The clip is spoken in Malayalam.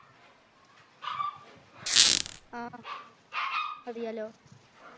ആഹ് അറിയാലോ